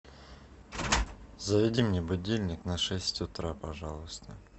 заведи мне будильник на шесть утра пожалуйста